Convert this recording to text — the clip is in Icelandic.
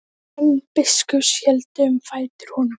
Menn biskups héldu um fætur honum.